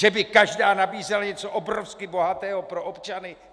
Že by každá nabízela něco obrovsky bohatého pro občany?